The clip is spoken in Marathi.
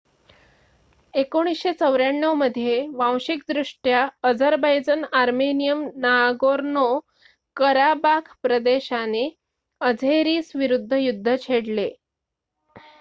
१९९४ मध्ये वांशिकदृष्ट्या अझरबैजन आर्मेनियन नागोर्नो-कराबाख प्रदेशाने अझेरिसविरुद्ध युद्ध छेडले